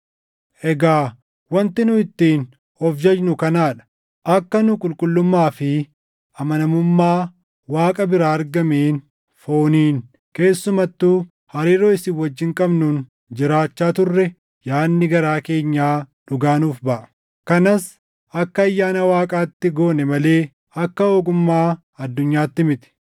Egaa wanti nu ittiin of jajnu kanaa dha: Akka nu qulqullummaa fi amanamummaa Waaqa biraa argameen fooniin keessumattuu hariiroo isin wajjin qabnuun jiraachaa turre yaadni garaa keenyaa dhugaa nuuf baʼa. Kanas akka ayyaana Waaqaatti goone malee akka ogummaa addunyaatti miti.